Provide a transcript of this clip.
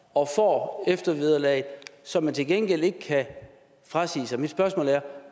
og får eftervederlag som man til gengæld ikke kan frasige sig mit spørgsmål er